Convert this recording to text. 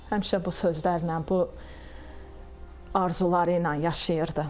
Həmişə bu sözlərlə, bu arzularıyla yaşayırdı.